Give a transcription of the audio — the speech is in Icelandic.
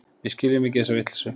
Við skiljum ekki þessa vitleysu.